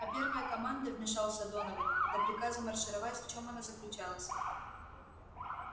а первая команда вмешался донован до приказа маршировать в чём она заключалась